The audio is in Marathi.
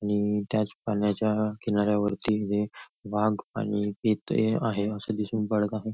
आणि त्याच पाण्याच्या किनाऱ्यावरती वाघ आणि चिता असं दिसून पडत आहे.